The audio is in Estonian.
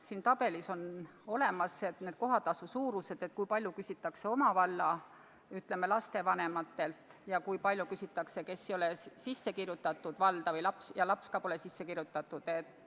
Siin tabelis on kohatasu suurused, kui palju küsitakse oma valla lapsevanematelt ja kui palju küsitakse neilt, kes ei ole valda sisse kirjutatud, kelle laps ka pole sisse kirjutatud.